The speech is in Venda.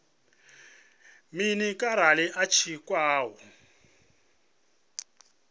mini arali a tshi khou